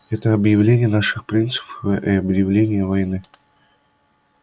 это объявление наших принципов и объявление войны